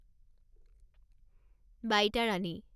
Baitarani